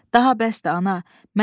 Daha bəsdir, ana.